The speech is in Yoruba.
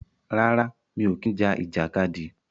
Rárá, mi ò kí ń ja ìjàkadì.